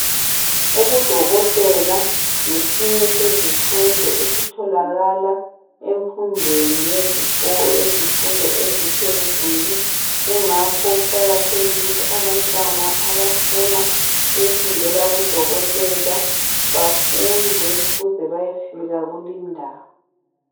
Ubudokotela ngesinye sezifundo esitholakala emfundweni yezikolo yezifundo eziphezulu kungakho kuqakathekile ukuthi abantwana abafuna ukufundela ubudokotela bafunde ukuze bayefika kulindawo.